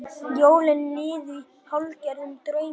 Jólin liðu í hálfgerðum draumi.